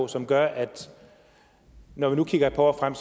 som gør at vi når vi nu kigger et par år frem